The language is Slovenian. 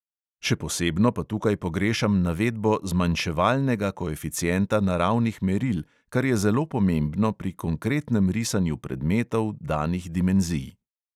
Še posebno pa tukaj pogrešam navedbo zmanjševalnega koeficienta naravnih meril, kar je zelo pomembno pri konkretnem risanju predmetov danih dimenzij.